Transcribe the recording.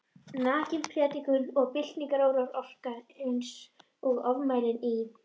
Nakin prédikunin og byltingaráróðurinn orkuðu einsog öfugmæli í